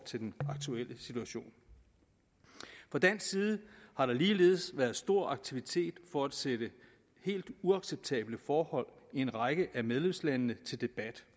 til den aktuelle situation fra dansk side har der ligeledes været stor aktivitet for at sætte helt uacceptable forhold i en række af medlemslandene til debat